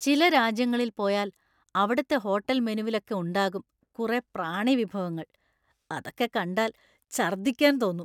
ചില രാജ്യങ്ങളിൽ പോയാൽ അവിടുത്തെ ഹോട്ടൽ മെനുവിലൊക്കെ ഉണ്ടാകും കുറേ പ്രാണി വിഭവങ്ങൾ; അതൊക്കെ കണ്ടാൽ ഛർദിക്കാൻ തോന്നും.